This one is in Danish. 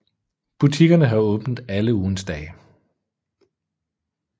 Butikkerne har åbent alle ugens dage